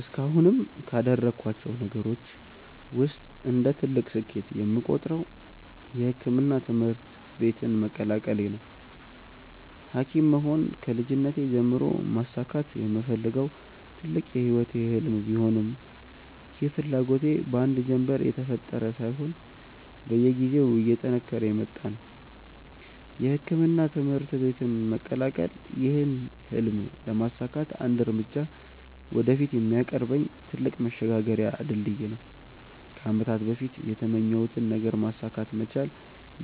እስካሁንም ካደረኳቸው ነገሮች ውስጥ እንደ ትልቅ ስኬት የምቆጥረው የሕክምና ትምህርት ቤትን መቀላቀሌ ነው። ሀኪም መሆን ከልጅነቴ ጀምሮ ማሳካት የምፈልገው ትልቅ የህይወቴ ህልም ቢሆንም ይህ ፍላጎቴ በአንድ ጀንበር የተፈጠረ ሳይሆን በየጊዜው እየጠነከረ የመጣ ነው። የሕክምና ትምህርት ቤትን መቀላቀል ይህን ህልም ለማሳካት አንድ እርምጃ ወደፊት የሚያቀርበኝ ትልቅ መሸጋገሪያ ድልድይ ነው። ከአመታት በፊት የተመኘሁትን ነገር ማሳካት መቻል